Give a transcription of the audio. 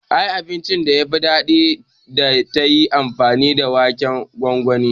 Ai abincin da yafi daɗi idan da tayi amfani da waken gongoni